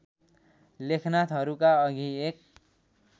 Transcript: लेखनाथहरूका अघि एक